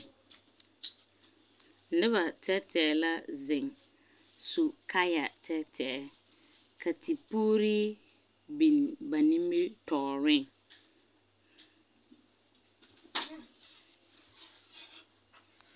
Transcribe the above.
Noba tɛɛtɛɛ la zeŋ su kaaya tɛɛtɛɛ. Ka tepuurii biŋ ba nimitɔɔreŋ.